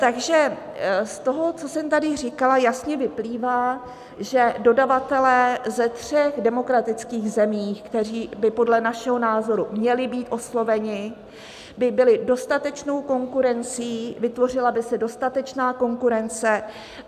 Takže z toho, co jsem tady říkala, jasně vyplývá, že dodavatelé ze tří demokratických zemí, kteří by podle našeho názoru měli být osloveni, by byli dostatečnou konkurencí, vytvořila by se dostatečná konkurence.